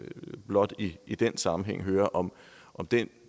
blot i i den sammenhæng høre om den